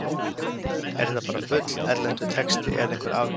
Er þetta bara bull, erlendur texti eða einhver afbökun?